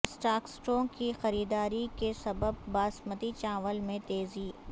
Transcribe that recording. اسٹاکسٹوں کی خریداری کے سبب باسمتی چاول میں تیزی